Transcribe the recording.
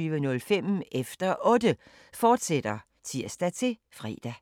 fortsat (tir-fre) 22:05: Efter Otte, fortsat (tir-fre)